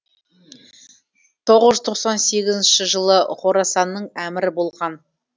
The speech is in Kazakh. тоғыз жүз тоқсан сегізінші жылы хорасанның әмірі болған